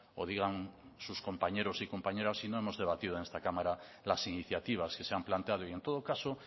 o digan sus compañeros y compañeras si no hemos debatido en esta cámara las iniciativas que se han planteado y en todo caso